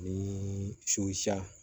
Ni